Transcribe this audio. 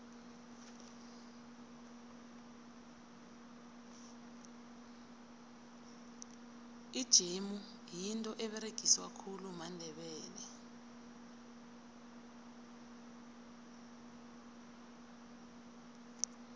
ijemu yinto eberegiswa khulu mandebele